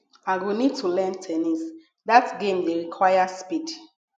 i go need to learn ten nis dat game dey require speed